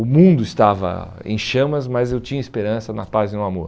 O mundo estava em chamas, mas eu tinha esperança na paz e no amor.